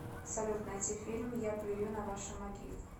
салют найти фильм я плюю на ваши могилы